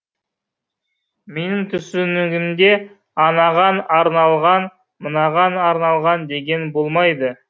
менің түсінігімде анаған арналған мынаған арналған деген болмайды